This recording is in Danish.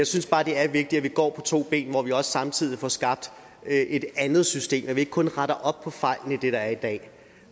synes bare det er vigtigt at vi går på to ben så vi også samtidig får skabt et andet system så vi ikke kun retter op på fejlene i det der er i dag